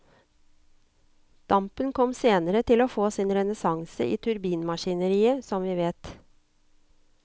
Dampen kom senere til å få sin renessanse i turbinmaskineriet, som vi vet.